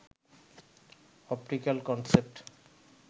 optical concept